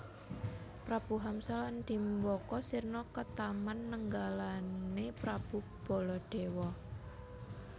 Prabu Hamsa lan Dimbaka sirna ketaman nenggalané Prabu Baladewa